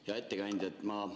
Hea ettekandja!